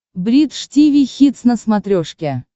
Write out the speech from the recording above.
бридж тиви хитс на смотрешке